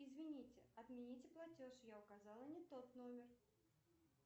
извините отмените платеж я указала не тот номер